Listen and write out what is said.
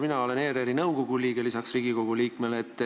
Mina olen lisaks Riigikogule ERR-i nõukogu liige.